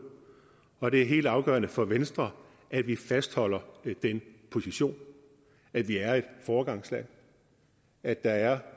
og det er helt afgørende for venstre at vi fastholder den position at vi er et foregangsland at der er